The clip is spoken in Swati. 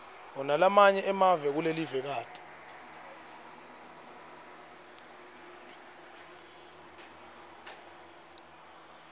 nalamanye emave kulelivekati